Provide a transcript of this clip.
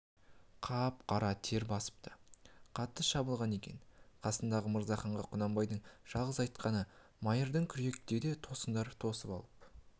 қап-қара тер басыпты қатты шабылған екен қасындағы мырзаханға құнанбайдың жалғыз айтқаны майырды керекуде тосыңдар тосып алып